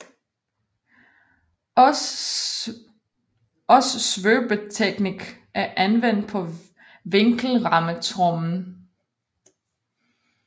Også svøbeteknik er anvendt på vinkelrammetrommen